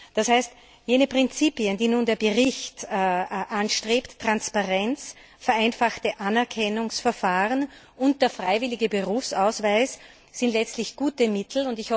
Das heißt, jene Prinzipien, die nun der Bericht anstrebt Transparenz, vereinfachte Anerkennungsverfahren und der freiwillige Berufsausweis sind letztlich gute Mittel.